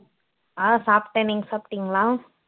ஆஹ் சாப்பிட்டேன் நீங்க சாப்பிட்டீங்களா